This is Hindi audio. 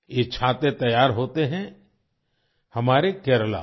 ये छाते तैयार होते हैं हमारे केरला में